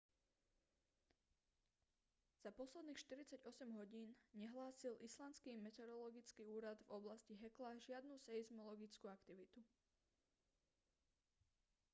za posledných 48 hodín nehlásil islandský meteorologický úrad v oblasti hekla žiadnu seizmologickú aktivitu